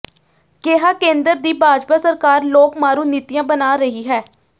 ਕਿਹਾ ਕੇਂਦਰ ਦੀ ਭਾਜਪਾ ਸਰਕਾਰ ਲੋਕ ਮਾਰੂ ਨੀਤੀਆਂ ਬਣਾ ਰਹੀ ਹੈ